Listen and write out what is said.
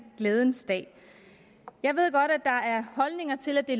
glædens dag jeg ved godt at der er holdninger til at det